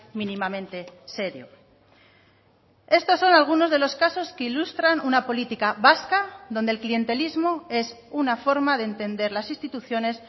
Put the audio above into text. mínimamente serio estos son algunos de los casos que ilustran una política vasca donde el clientelismo es una forma de entender las instituciones